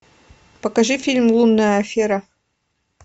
покажи фильм лунная афера